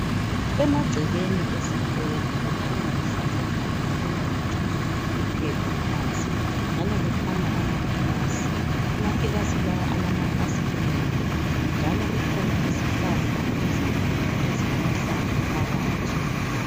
Emagcekeni esikolo kukhanya kuhlanzekile akula ngitsho iphepha phansi njalo kukhanya amakilasi. Amakilasi lawa alamafasiteli njalo kukhona izihlahla ezinkulu ezilamahlamvu phakathi.